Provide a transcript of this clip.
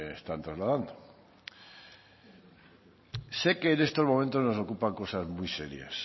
me están trasladando sé que en estos momentos nos ocupan cosas muy serias